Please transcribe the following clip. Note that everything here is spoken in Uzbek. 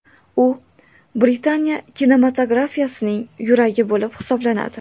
U Britaniya kinematografiyasining yuragi bo‘lib hisoblanadi.